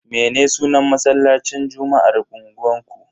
Me sunan masallacin juma'ar unguwanku?